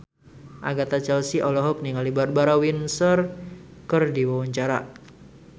Agatha Chelsea olohok ningali Barbara Windsor keur diwawancara